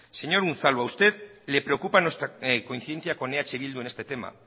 señor unzalu a usted le preocupa nuestra coincidencia con eh bildu en este tema